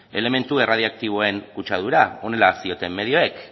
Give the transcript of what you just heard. elementu erradioaktiboen kutsadura honela zioten medioek